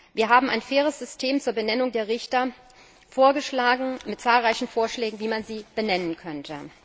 Wir haben ein faires System zur Benennung der Richter vorgeschlagen, mit zahlreichen Vorschlägen, wie man sie benennen könnte.